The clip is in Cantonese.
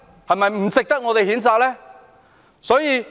是否不值得我們譴責呢？